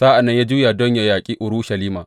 Sa’an nan ya juya don yă yaƙi Urushalima.